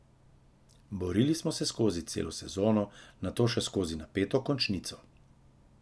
Borili smo se skozi celo sezono, nato še skozi napeto končnico.